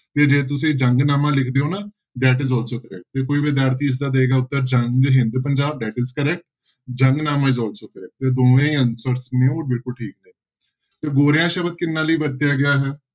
ਤੇ ਜੇ ਤੁਸੀਂ ਜੰਗਨਾਮਾ ਲਿਖਦੇ ਹੋ ਨਾ that is also correct ਤੇ ਕੋਈ ਵਿਦਿਆਰਥੀ ਇਸਦਾ ਦਏਗਾ ਉੱਤਰ Jang Hind Punjab that is correct Jangnama is also correct ਤੇ ਦੋਵੇਂ answers ਨੇ ਉਹ ਬਿਲਕੁਲ ਠੀਕ ਹੈ ਤੇ ਗੋਰਿਆਂ ਸ਼ਬਦ ਕਿਹਨਾਂ ਲਈ ਵਰਤਿਆ ਗਿਆ ਹੈ।